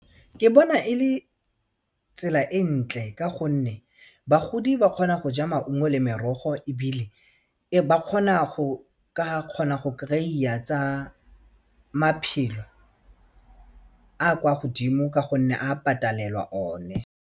Ke bona e le tsela e ntle ka gonne bagodi ba kgona go ja maungo le merogo ebile ba kgona go kgona go kry-a tsa maphelo a kwa godimo ka gonne a patelelwa one.